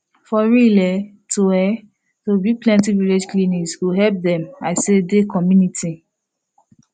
for real[um]to[um]to build plenti village clinics go help dem i say de communitiy